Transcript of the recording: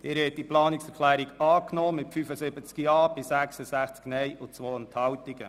Sie haben diese Planungserklärung angenommen mit 75 Ja- gegen 66 Nein-Stimmen bei 2 Enthaltungen.